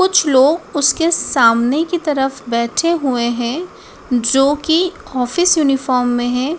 कुछ लोग उसके सामने की तरफ बैठे हुए हैं जो की ऑफिस यूनिफॉर्म में हैं।